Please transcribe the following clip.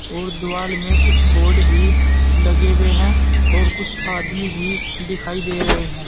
और द्वाल में कुछ बोर्ड भी लगे हुए हैं और कुछ आदमी भी दिखाई दे रहे हैं।